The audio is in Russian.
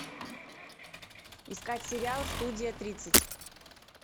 искать сериал студия тридцать